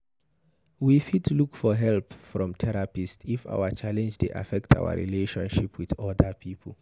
We fit look for help from therapist if our challenge dey affect our relationship with oda pipo